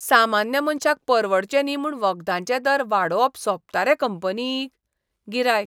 सामान्य मनशाक परवडचे न्ही म्हूण वखदांचे दर वाडोवप सोबता रे कंपनीक? गिरायक